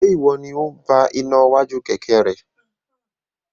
Ṣe iwọ ni o n bá iná iwájú kẹkẹ rẹ?